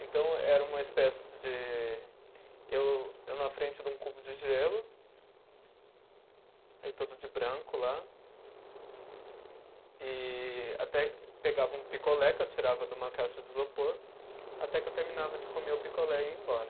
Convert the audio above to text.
Então era uma espécie de, eu eu na frente de um cubo de gelo, aí todo de branco lá, e até pegava um picolé que eu tirava de uma caixa de isopor, até que eu terminava de comer o picolé e ia embora.